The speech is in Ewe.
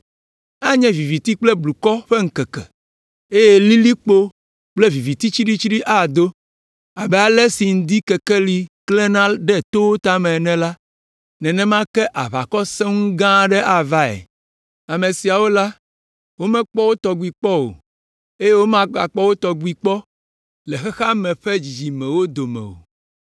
Anye viviti kple blukɔ ƒe ŋkeke, eye lilikpo kple viviti tsiɖitsiɖi ado. Abe ale si ŋdikekeli klẽna ɖe towo tame ene la, nenema ke aʋakɔ gã sẽŋu aɖe avae. Ame siawo la, womekpɔ wo tɔgbi kpɔ o, eye womagakpɔ wo tɔgbi kpɔ le xexea me ƒe dzidzimewo dome o!